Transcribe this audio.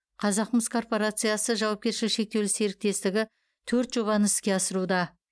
қазақмыс корпорациясы жауапкершілігі шектеулі серіктестігі төрт жобаны іске асыруда